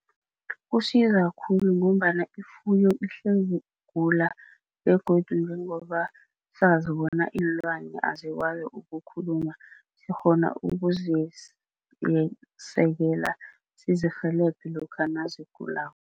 Kusiza khulu ngombana ifuyo ihlezi igula begodu njengoba sazi bona iinlwane azikwazi ukukhuluma sikghona ukuzisekela sizirhelebhe lokha nazigulako.